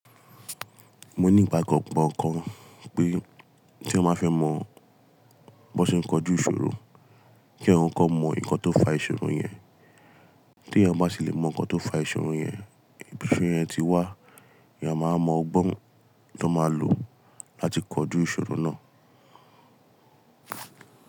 Mo ní ìgbàgbọ́ kan pé tí eyan ba fẹ́ mọ bí wọ́n ṣe ń kọjú ìṣòro, kí eyan kọkọ mọ nǹkan tó ń fa ìṣòro yẹn. Tí eyan bá sì lè mọ nǹkan tó ń fa ìṣòro yẹn, ìbi ti ìṣòro yẹn ti wá, eyán máa mọ ọgbọ́n tó máa lò láti kọjú ìṣòro náà.